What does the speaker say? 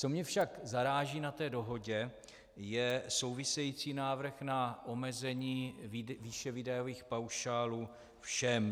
Co mě však zaráží na té dohodě, je související návrh na omezení výše výdajových paušálů všem.